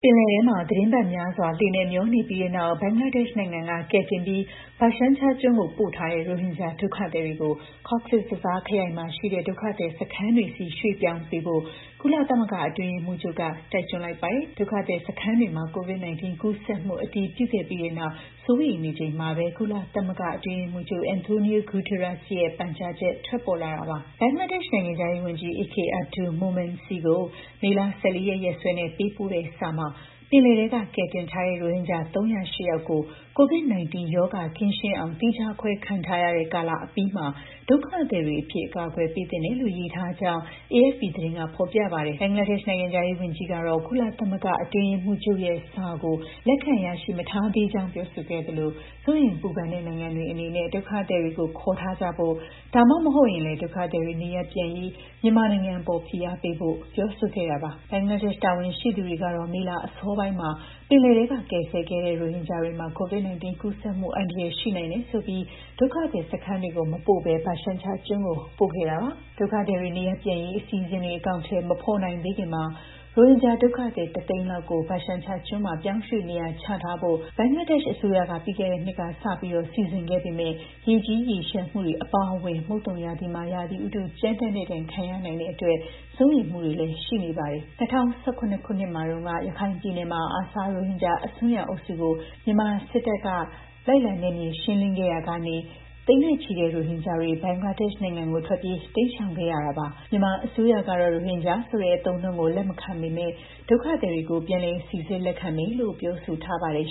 ပင်လယ်ထဲမှာ သီတင်းပတ်များစွာ လှေနဲ့မျောနေပြီးနောက် ဘင်္ဂလားဒေ့ရှ်နိုင်ငံက ကယ်တင်ပြီး ဘာရှန်ချာကျွန်းကို ပို့ထားတဲ့ ရိုဟင်ဂျာ ဒုက္ခသည်တွေကို ကော့ဇ်ဘဇားခရိုင်မှာရှိတဲ့ ဒုက္ခသည်စခန်းတွေဆီ ရွှေ့ပြောင်းပေးဖို့ ကုလသမဂ္ဂ အတွင်းရေးမှူးချုပ်က တိုက်တွန်းလိုက်ပါတယ်။ ဒုက္ခသည်စခန်းတွေမှာ COVID-19 ကူးစက်မှု အတည်ပြုခဲ့ပြီးနောက် စိုးရိမ်နေချိန်မှာပဲ ကုလသမဂ္ဂ အတွင်းရေးမှူးချုပ် Antonio Guterres ရဲ့ ပန်ကြားချက် ထွက်ပေါ်လာတာပါ။ ဘင်္ဂလားဒေ့ရှ် နိုင်ငံခြားရေးဝန်ကြီး A.K. Abdul Momen ဆီကို မေလ ၁၄ ရက် ရက်စွဲနဲ့ ပေးပို့တဲ့စာမှာ ပင်လယ်ထဲက ကယ်တင်ထားတဲ့ ရိုဟင်ဂျာ ၃၀၈ ယောက်ကို COVID-19 ရောဂါ ကင်းရှင်းအောင် သီးခြားခွဲခံထားရတဲ့ကာလ အပြီးမှာ ဒုက္ခသည်တွေအဖြစ် အကာအကွယ် ပေးသင့်တယ်လို့ ရေးသားထားကြောင်းလည်း AFP သတင်းက ဖော်ပြပါတယ်။ ဘင်္ဂလားဒေ့ရှ် နိုင်ငံခြားရေးဝန်ကြီးကတော့ ကုလသမဂ္ဂ အတွင်းရေးမှူးချုပ်ရဲ့စာကို လက်ခံရရှိမထားသေးကြောင်း ပြောဆိုခဲ့သလို စိုးရိမ်ပူပန်တဲ့ နိုင်ငံတွေအနေနဲ့ ဒုက္ခသည်တွေကို ခေါ်ထားကြဖို့၊ ဒါမှမဟုတ်ရင်လည်း ဒုက္ခသည်တွေ နေရပ်ပြန်ရေး မြန်မာနိုင်ငံအပေါ် ဖိအားပေးဖို့ ပြောဆိုခဲ့တာပါ။ ဘင်္ဂလားဒေ့ရှ် တာဝန်ရှိသူတွေကတော့ မေလအစောပိုင်းမှာ ပင်လယ်ထဲက ကယ်ဆယ်ခဲ့တဲ့ ရိုဟင်ဂျာတွေမှာ COVID-19 ကူးစက်မှုအန္တရာယ် ရှိနိုင်တယ်ဆိုပြီး ဒုက္ခသည်စခန်းတွေကို မပို့ဘဲ ဘာရှန်ချာကျွန်းကို ပို့ခဲ့တာပါ။ ဒုက္ခသည်တွေ နေရပ်ပြန်ရေး အစီအစဉ်တွေ အကောင်အထည် မဖော်နိုင်သေးခင်မှာ ရိုဟင်ဂျာဒုက္ခသည် ၁ သိန်းလောက်ကို ဘာရှန်ချာကျွန်းမှာ ပြောင်းရွှေ့နေရာချထားဖို့ ဘင်္ဂလားဒေ့ရှ်အစိုးရက ပြီးခဲ့တဲ့နှစ်ကစလို့ စီစဉ်ခဲ့ပေမယ့်လည်း ရေကြီးရေလျှံမှုတွေ အပါအဝင် မုတ်သုံရာသီမှာ ရာသီဥတု ကြမ်းတမ်းတဲ့ဒဏ် ခံရနိုင်တဲ့အတွက် စိုးရိမ်မှုတွေလည်း ရှိနေပါတယ်။ ၂၀၁၇ ခုနှစ်တုန်းက ရခိုင်ပြည်နယ်မှာ ARSA ရိုဟင်ဂျာ အစွန်းရောက်အုပ်စုကို မြန်မာစစ်တပ်က လိုက်လံရှင်းလင်းရာက သိန်းနဲ့ချီတဲ့ ရိုဟင်ဂျာတွေ ဘင်္ဂလားဒေ့ရှ်နိုင်ငံကို ထွက်ပြေးတိမ်းရှောင်ခဲ့ကြတာပါ။ မြန်မာအစိုးရကတော့ ရိုဟင်ဂျာဆိုတဲ့ အသုံးအနှုန်းကို လက်မခံပေမယ့် ဒုက္ခသည်တွေကို ပြန်လည်စိစစ် လက်ခံမယ်လို့ ပြောထားပါတယ်